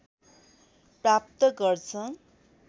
प्राप्त गर्छ